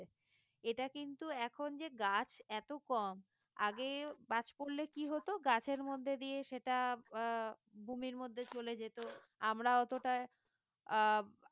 এটা কিন্তু এখন যে গাছ এত কম আগেও বাজ পড়লে কি হত গাছের মধ্যে দিয়ে সেটা আহ ভূমির মধ্যে চলে যেত আমরা অতটা আহ